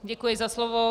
Děkuji za slovo.